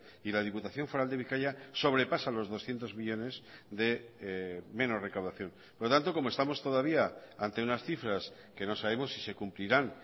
y la diputación foral de bizkaia sobrepasa los doscientos millónes de menos recaudación por lo tanto como estamos todavía ante unas cifras que no sabemos si se cumplirán